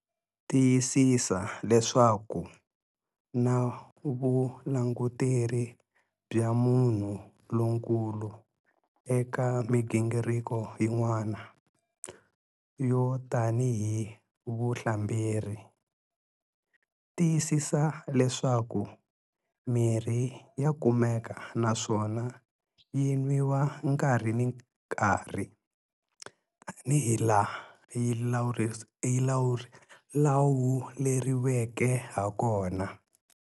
Tiyisisa leswaku na vulanguteri bya munhu lonkulu eka migingiriko yin'wana, yo tanihi vuhlamberi. Tiyisisa leswaku mirhi ya kumeka naswona yi nwiwa nkarhi na nkarhi tanihilaha yi lawuleriweke hakona.